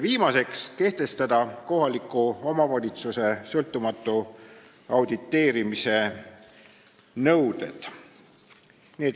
Viimaseks, kehtestada kohaliku omavalitsuse sõltumatu auditeerimise nõuded.